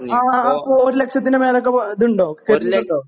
ആ അപ്പൊ ഒരു ലക്ഷത്തിന് മേലേക്ക് ഇത് ഉണ്ടോ?